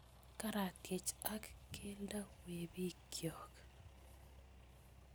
Karatyech ak keldo we bikyok